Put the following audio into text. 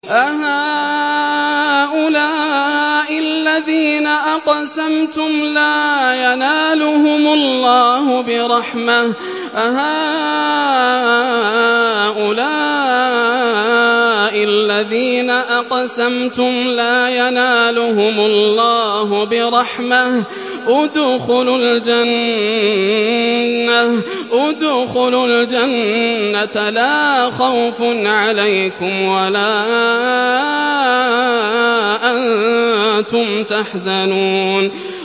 أَهَٰؤُلَاءِ الَّذِينَ أَقْسَمْتُمْ لَا يَنَالُهُمُ اللَّهُ بِرَحْمَةٍ ۚ ادْخُلُوا الْجَنَّةَ لَا خَوْفٌ عَلَيْكُمْ وَلَا أَنتُمْ تَحْزَنُونَ